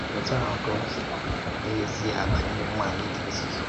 Otu ahụ ka o dị n’ezīe banyere nwànyị dị nzụzọ.